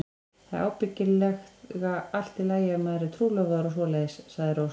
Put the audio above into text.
Það er ábyggilega allt í lagi ef maður er trúlofaður og svoleiðis, sagði Rósa.